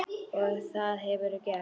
Og það hefurðu gert.